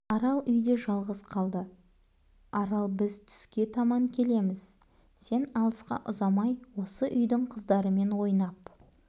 арал үйде жалғыз қалды арал біз түске таман келеміз сен алысқа ұзамай осы үйдің қыздарымен ойнап